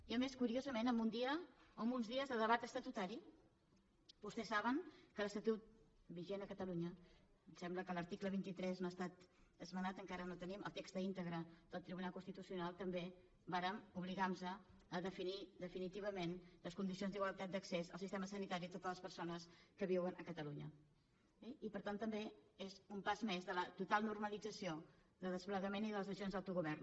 i a més curiosament en uns dies de debat estatutari vostès saben que l’estatut vigent a catalunya em sembla que l’article vint tres no ha estat esmenat encara no tenim el text íntegre del tribunal constitucional també vàrem obligar nos a definir definitivament les condicions d’igualtat d’accés al sistema sanitari a totes les persones que viuen a catalunya eh i per tant també és un pas més de la total normalització de desplegament i de les decisions d’autogovern